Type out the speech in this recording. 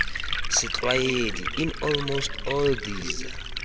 setlwaedi in almost all these